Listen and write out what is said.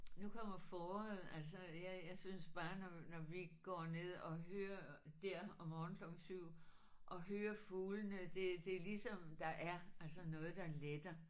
Nu kommer foråret altså jeg jeg synes bare når når vi går ned og hører der om morgenen klokken 7 og hører fuglene det det er ligesom der er altså noget der letter